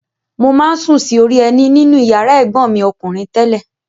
Mo máa ń sùn sí orí ẹní nínú ìyàrá ẹ̀gbọ́n mi ọkùnrin tẹ́lẹ̀.